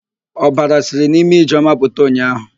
Ọbara siri n'imi Ijeọma pụta ụnyaahụ.